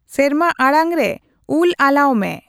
ᱥᱮᱨᱢᱟ ᱟᱲᱟᱝ ᱨᱮ ᱩᱞ ᱟᱞᱟᱣ ᱢᱮ